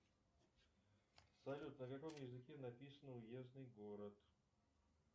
салют на каком языке написано уездный город